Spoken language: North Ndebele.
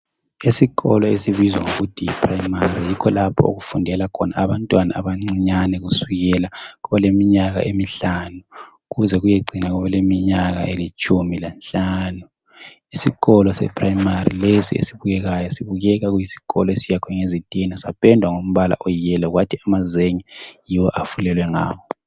Isikolo esibizwa ngokuthi yiprimary kulapho okufundela khona abantwana abancinyane kusukela koleminyaka emihlanu kuze kuyecina koleminyaka elitshumi lanhlanu. Isikolo seprimary lesi esibukekayo sibukeka kuyisikolo esiyakhwe ngezitina sapendwa ngimbala oyiyellow kuthi amazenge yiwo afulelwe ngawo.